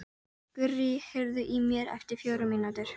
Gurrí, heyrðu í mér eftir fjórar mínútur.